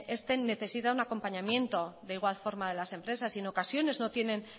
este necesita un acompañamiento de igual forma de las empresas y en ocasiones no tienen